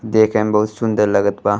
देखे में बहुत सुन्दर लगत बा।